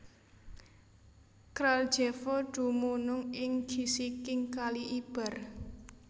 Kraljevo dumunung ing gisiking Kali Ibar